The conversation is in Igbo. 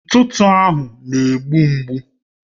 Ntụtụ ahụ na-egbu mgbu